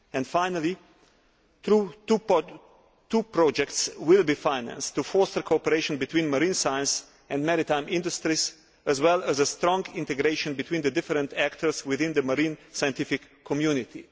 Finally, two projects will be financed to foster cooperation between marine science and maritime industries as well as a stronger integration between the different actors within the marine scientific community.